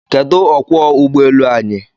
Kedụ okwọọ ụgbọ elu anyị?